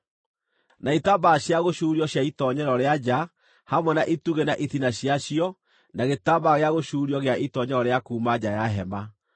na itambaya cia gũcuurio cia itoonyero rĩa nja hamwe na itugĩ na itina ciacio na gĩtambaya gĩa gũcuurio gĩa itoonyero rĩa kuuma nja ya hema